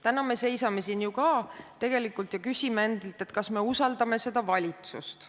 Täna me seisame ju ka siin ja küsime endalt, kas me usaldame seda valitsust.